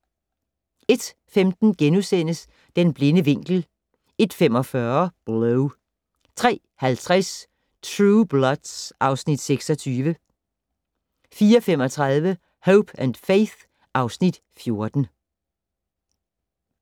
01:15: Den blinde vinkel * 01:45: Blow 03:50: Blue Bloods (Afs. 26) 04:35: Hope & Faith (Afs. 14)